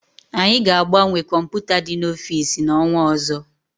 Anyị ga agbanwe kọmputa dị n'ofisi na-onwa ọzọ